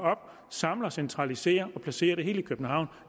samler og centraliserer og placerer det hele i københavn